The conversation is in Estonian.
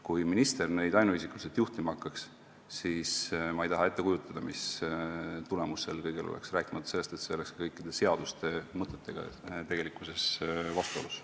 Kui minister neid ainuisikuliselt juhtima hakkaks, siis ma ei kujuta ette, mis tulemus sel kõigel oleks, rääkimata sellest, et see oleks ju kõikide seaduste mõttega vastuolus.